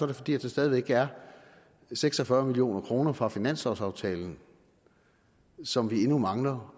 det fordi der stadig væk er seks og fyrre million kroner fra finanslovsaftalen som vi endnu mangler